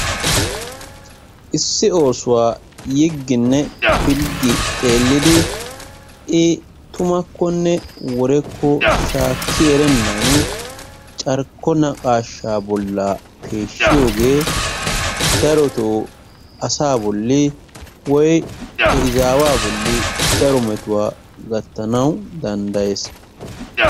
Issi osuwaa yiginne filggi xelliddi i tummakonne worekkonne shaki erenanni carikko naqashaabollani peshiyogee daroto asa boli woyko he izawaa bolli daro metuwaa gattanawu dandayees.